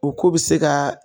U k'u bi se ka